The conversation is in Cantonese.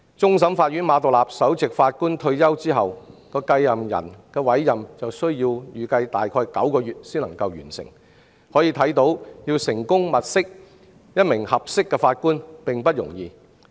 終審法院馬道立首席法官退休後的繼任人就預計需要最少9個月才能完成委任，可見要物色一名合適的法官並不容易。